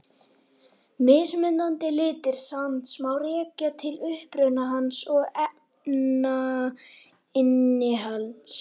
Mismunandi litir sands má rekja til uppruna hans og efnainnihalds.